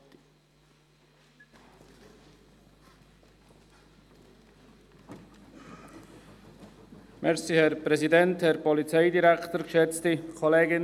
Die Empfehlung der KKPKS hinsichtlich Nennung der Nationalitäten in Medienorientierungen ist wo immer möglich auch im Kanton Bern zu befolgen.